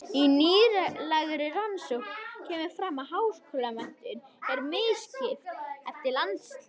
Í nýlegri rannsókn kemur fram að háskólamenntun er misskipt eftir landshlutum.